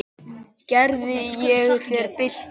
Gerði ég þér bylt við?